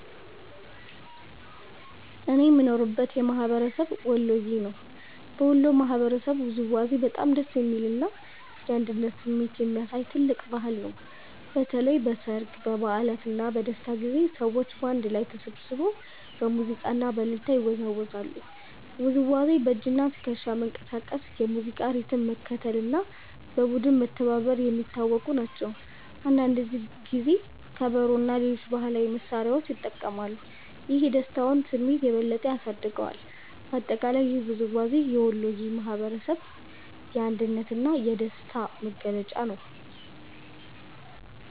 እኔ የምኖርበት ማህበረሰብ ወሎየ ነው። በወሎ ባህላዊ ውዝዋዜ በጣም ደስ የሚል እና የአንድነት ስሜት የሚያሳይ ትልቅ ባህል ነው። በተለይ በሠርግ፣ በበዓላት እና በደስታ ጊዜያት ሰዎች በአንድ ላይ ተሰብስበው በሙዚቃ እና በእልልታ ይወዛወዛሉ። ውዝዋዜው በእጅና ትከሻ መንቀሳቀስ፣ የሙዚቃ ሪትም መከተል እና በቡድን መተባበር የሚታወቁ ናቸው። አንዳንድ ጊዜ ከበሮ እና ሌሎች ባህላዊ መሳሪያዎች ይጠቀማሉ፣ ይህም የደስታውን ስሜት የበለጠ ያሳድገዋል። በአጠቃላይ ይህ ውዝዋዜ የወሎየ ማህበረሰብ የአንድነት እና የደስታ መገለጫ ነው።